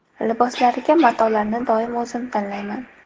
Liboslariga matolarni doim o‘zim tanlayman.